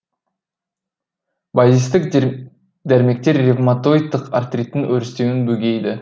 базистік дәрмектер ревматоидтық артриттің өрістеуін бөгейді